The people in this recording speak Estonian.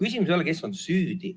Küsimus ei ole, kes on süüdi.